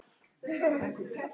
Þetta hefur verið frábær vika.